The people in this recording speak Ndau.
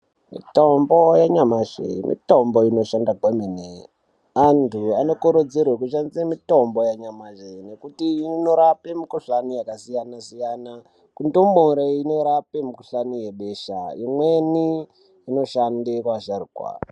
Mitombo yanyamashi mitombo inoshanda kwemene antu anokurudzirwe kushandise mutombo yanyamashi ngekuti inorape mikhuhlane yakasiyanasiyana kundumure inorape mukhuhlani webesha imweni inoshande vasharukwa.